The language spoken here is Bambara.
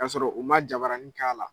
Ka sɔrɔ u man jabaranin k'a la